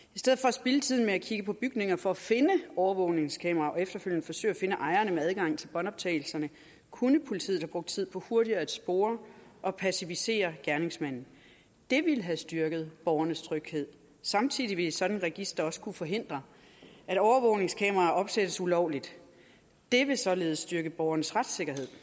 spilde tiden med at kigge på bygninger for at finde overvågningskameraer og efterfølgende forsøge at finde ejerne med adgang til båndoptagelserne kunne politiet have brugt tiden på hurtigere at spore og pacificere gerningsmanden det ville have styrket borgernes tryghed samtidig vil sådan et register også kunne forhindre at overvågningskameraer opsættes ulovligt det vil således styrke borgernes retssikkerhed